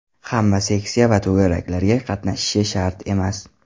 Hamma seksiya va to‘garaklarga qatnashishi shart emas.